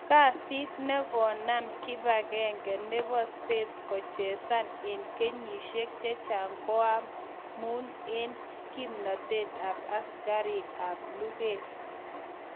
kasiit negonam Kipagenge nebo States kochesan en kenyisieg chechang koamun en kimnatet ap asigariik ap luget